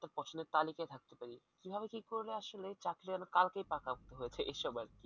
আসলে তালিকায় থাকতে পারি কিভাবে কি করলে আসলে চাকরিটা আমি কালকেই পাকাপোক্ত হয়েছে এসব আরকি।